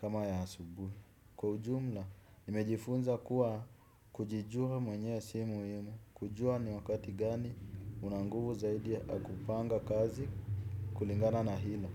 kama ya asubuhi, kwa ujumla, nimejifunza kuwa kujijua mwenyewe si muhimu kujua ni wakati gani unanguvu zaidi ya kupanga kazi kulingana na hila.